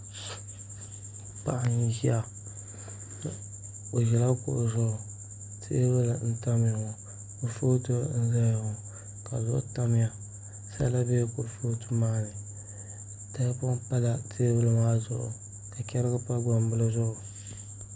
Paɣa n ʒiya o ʒila kuɣu zuɣu teebuli n tamya ŋo kurifooti n ʒɛya ŋo ka duɣu tamya sala biɛla kurifooti maa ni tahapoŋ pala teebuli maa zuɣu ka chɛrigi pa gbambili zuɣu